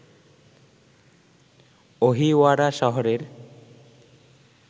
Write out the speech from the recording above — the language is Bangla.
অহিওয়ারা শহরের